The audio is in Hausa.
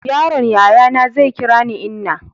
yaron yayana zai kira ni inna